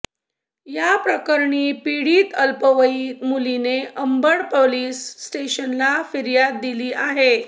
या प्रकरणी पिडीत अल्पवयीन मुलीने अंबड पोलिस स्टेशनला फिर्याद दिली आहे